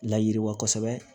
Layiriwa kosɛbɛ